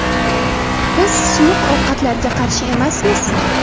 Biz suyuq ovqatlarga qarshi emasmiz.